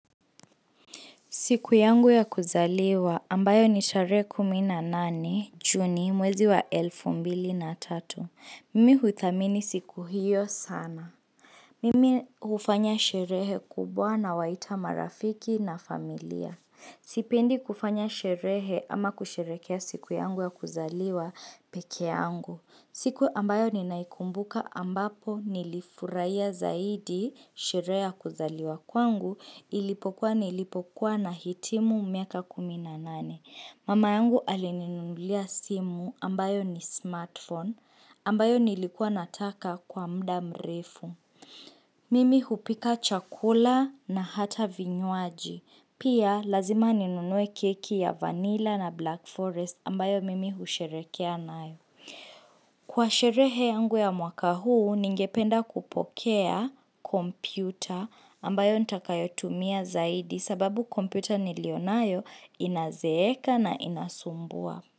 Siku yangu ya kuzaliwa ambayo ni tarehe kumi na nane juni mwezi wa elfu mbili na tatu. Mimi huthamini siku hiyo sana. Mimi hufanya sherehe kubwa nawaita marafiki na familia. Sipendi kufanya sherehe ama kusherehekea siku yangu ya kuzaliwa peke yangu. Siku ambayo ninaikumbuka ambapo nilifurahia zaidi sherehe ya kuzaliwa kwangu ilipokuwa nilipokuwa nahitimu miaka kumi na nane. Mama yangu alininunulia simu ambayo ni smartphone ambayo nilikuwa nataka kwa muda mrefu. Mimi hupika chakula na hata vinywaji. Pia lazima ninunue keki ya vanilla na black forest ambayo mimi husherehekea nayo. Kwa sherehe yangu ya mwaka huu, ningependa kupokea kompyuta ambayo nitakayotumia zaidi sababu kompyuta niliyo nayo inazeeka na inasumbua.